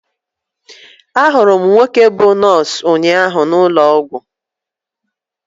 Ahụrụ m nwoke bú nọọsụ ụnyaahụ n'ụlọ ọgwụ.